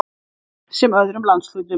Reykjavík sem öðrum landshlutum.